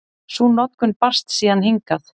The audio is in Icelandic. Sú notkun barst síðan hingað.